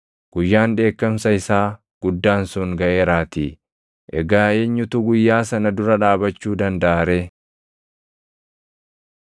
Guyyaan dheekkamsa isaa guddaan sun gaʼeeraatii; egaa eenyutu guyyaa sana dura dhaabachuu dandaʼa ree?”